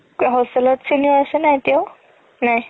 hostel ত senior আছে নে এতিয়াও